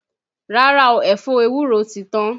Rárá o, ẹ̀fọ ewúro ti tán